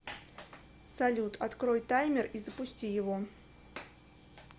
салют открой таймер и запусти его